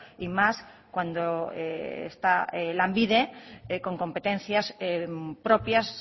y más cuando está lanbide con competencias propias